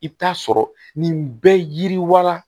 I bɛ taa sɔrɔ nin bɛ yiriwa